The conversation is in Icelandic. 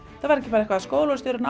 það var ekki bara skólastjórinn